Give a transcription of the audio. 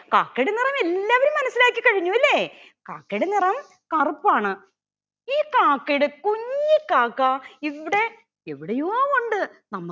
കാക്കയുടെ നിറം എല്ലാവരും മനസ്സിലാക്കി കഴിഞ്ഞു അല്ലെ കാക്കയുടെ നിറം കറുപ്പാണ് ഈ കാക്കയുടെ കുഞ്ഞി കാക്ക ഇവിടെ എവിടെയോ ഉണ്ട്